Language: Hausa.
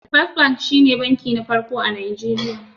First Bank shi ne bankin farko a Najeriya.